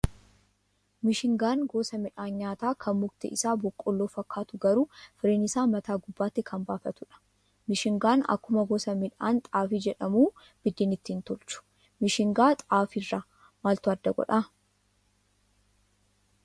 Mishingaan gosa midhaan nyaataa kan mukti isaa boqoolloo fakkaatu garuu firiin isaa mataa gubbaatti kan baafatudha. Mishingaan akkuma gosa midhaan xaafii jedhamuu buddeena ittiin tolchu. Mishingaa xaafii irraa maltu adda godhaa?